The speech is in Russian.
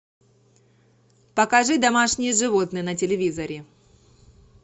покажи домашние животные на телевизоре